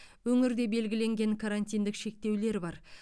өңірде белгіленген карантиндік шектеулер бар